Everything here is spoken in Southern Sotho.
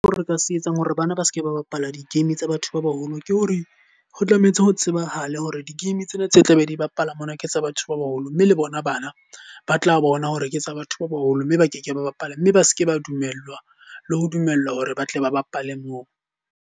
Ha re ka se etsang hore bana ba seke ba bapala di-game tsa batho ba baholo. Ke ho re, ho tlametse ho tsebahale hore di-game tsena tse tla be di bapala mona ke tsa batho ba baholo. Mme le bona bana ba tla bona hore ke tsa batho ba baholo mme ba ke ke ba bapala. Mme ba seke ba dumellwa le ho dumellwa hore ba tle ba bapale moo.